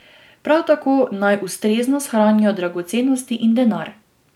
Prav tako naj ustrezno shranijo dragocenosti in denar.